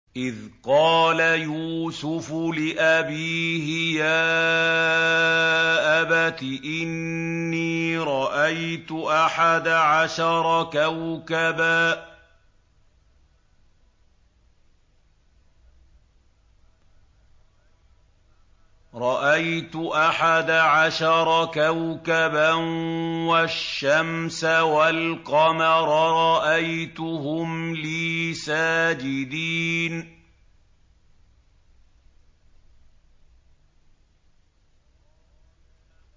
إِذْ قَالَ يُوسُفُ لِأَبِيهِ يَا أَبَتِ إِنِّي رَأَيْتُ أَحَدَ عَشَرَ كَوْكَبًا وَالشَّمْسَ وَالْقَمَرَ رَأَيْتُهُمْ لِي سَاجِدِينَ